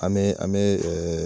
An me an me ɛ ɛ